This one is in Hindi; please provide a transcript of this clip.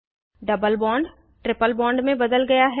डबल बॉन्ड ट्रिपल बॉन्ड में बदल जाता है